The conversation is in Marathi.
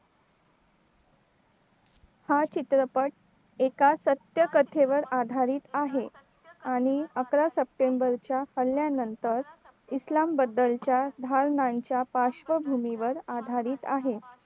हा चित्रपट एका सत्यकथेवर आधारित आहे आणि अकरा september च्या आल्यानंतर इस्लाम बद्दलच्या भावनांच्या पार्श्वभूमीवर आधारित आहे